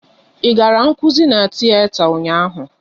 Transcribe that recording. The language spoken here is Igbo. Ị gara nkụzi n'tiyeta ụnyaahụ?